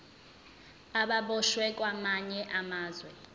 ababoshwe kwamanye amazwe